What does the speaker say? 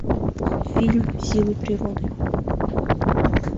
фильм силы природы